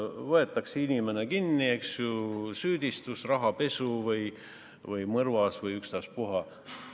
Võetakse inimene kinni, eks ju, süüdistus rahapesus või mõrvas või ükstaspuha.